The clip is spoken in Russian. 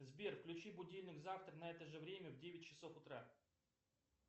сбер включи будильник завтра на это же время в девять часов утра